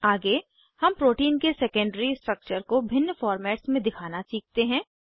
आगे हम प्रोटीन के सेकेंडरी स्ट्रक्चर को भिन्न फॉर्मेट्स में दिखाना सीखते हैं